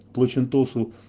плачинта